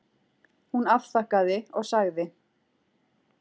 Hún afþakkaði og sagði